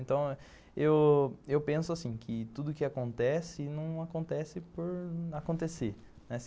Então, eu eu penso assim, que tudo que acontece, não acontece por acontecer.